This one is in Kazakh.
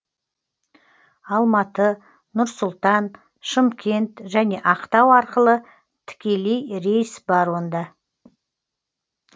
алматы нұр сұлтан шымкент және ақтау арқылы тікелей рейс бар онда